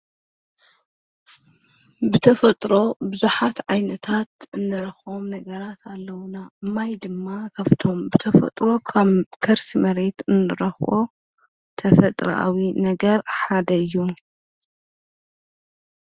ብተፈጥሮ ብዙሓት ዓይነታት እንረኽቦም ነገራት ኣለዉና፡፡ ማይ ድማ ካፍቶም ብተፈጥሮ ካብ ከርሲ መሬት እንረኽቦ ተፈጥራዊ ነገር ሓደ እዩ፡፡